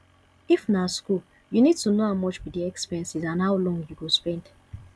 if na school you need to know how much be di expenses and how long you go spend